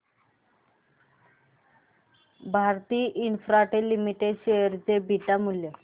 Bharti Infratel limited share चे beta मूल्य